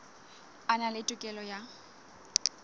a na le tokelo ya